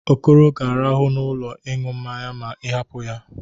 Okoro ga-arahụ n'ụlọ ịñụ mmanya ma ị hapụ ya.